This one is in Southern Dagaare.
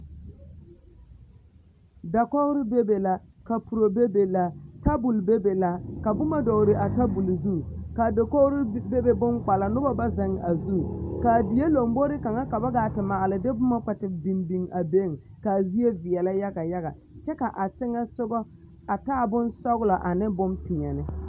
Dakogre bebe la kapuro bebe la tabol bebe la ka boma dɔgle a tabol zu ka a dakogre bebe bonkpala noba ba zeŋ a zu ka a die lombore kaŋa ka ba gaa te maale de boma a kpɛ te biŋ biŋ a beŋ ka a zie veɛlɛ yaga yaga kyɛ ka a teŋɛ soga a taa bonsɔglɔ ane bonpeɛlle.